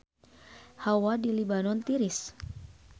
Hawa di Libanon tiris